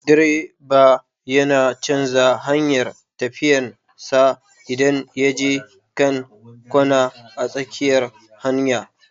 Direba yana canja hanyar tafiyan sa idan ya je kan kwana a tsakiyar hanya